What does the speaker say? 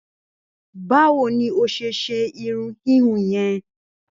Báwo ni ó se ṣe irun híhun yẹn?